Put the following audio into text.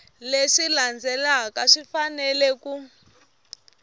leswi landzelaka swi fanele ku